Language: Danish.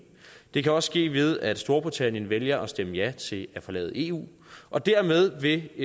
det kan også ske ved at storbritannien vælger at stemme ja til at forlade eu og dermed vil